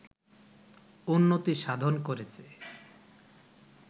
উন্নতি সাধন করেছে